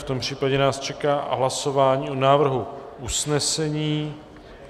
V tom případě nás čeká hlasování o návrhu usnesení.